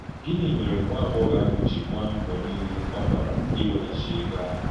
Gịnị mèrè nwà-àgbọ́ghọ̀ àhụ̀ jí gbàà mbọ̀ niile à ọ gbàrà íwéghàchì ègò àhụ̀?